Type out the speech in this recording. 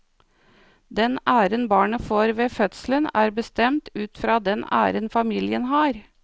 Den æren barnet får ved fødselen er bestemt ut fra den æren familien har.